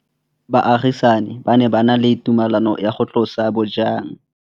Baagisani ba ne ba na le tumalanô ya go tlosa bojang.